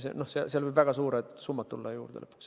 Seal võivad lõpuks väga suured summad juurde tulla.